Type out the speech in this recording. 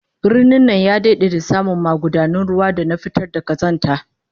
Birnin nan ya dade da samu magudanun ruwa da na fitar da kazanta